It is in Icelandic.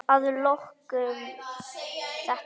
Að lokum þetta.